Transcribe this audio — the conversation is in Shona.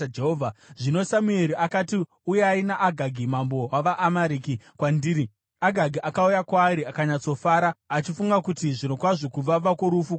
Zvino Samueri akati, “Uyai naAgagi mambo wavaAmareki kwandiri.” Agagi akauya kwaari akanyatsofara, achifunga kuti, “Zvirokwazvo kuvava kworufu kwapfuura.”